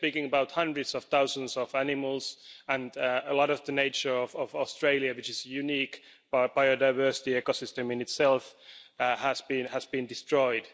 We are speaking about hundreds of thousands of animals and a lot of the nature of Australia, which is a unique biodiversity ecosystem in itself, having been destroyed.